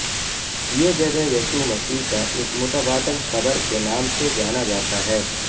یہ جگہ یسوع مسیح کا ایک متبادل قبر کے نام سے جانا جاتا ہے